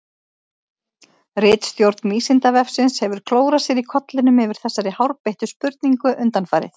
Ritstjórn Vísindavefsins hefur klórað sér í kollinum yfir þessari hárbeittu spurningu undanfarið.